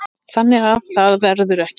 Þannig að það verður ekki.